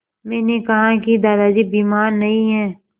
मैंने कहा कि दादाजी बीमार नहीं हैं